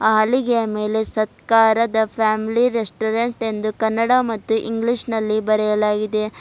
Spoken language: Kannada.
ಹಲಿಗೆಯ ಮೇಲೆ ಸತ್ಕಾರದ ಫ್ಯಾಮಿಲಿ ರೆಸ್ಟೋರೆಂಟ್ ಎಂದು ಕನ್ನಡ ಮತ್ತು ಇಂಗ್ಲೀಷ್ ನಲ್ಲಿ ಬರೆಯಲಾಗಿದೆ.